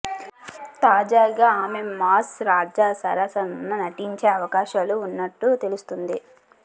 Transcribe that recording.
తాజాగా ఆమె మాస్ రాజా సరసన నటించే అవకాశాలు ఉన్నట్టు తెలుస్తోంది